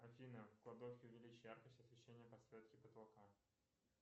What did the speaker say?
афина в кладовке увеличь яркость освещения подсветки потолка